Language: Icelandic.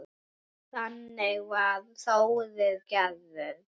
Þannig var Þórir gerður.